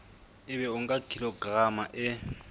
ebe o nka kilograma e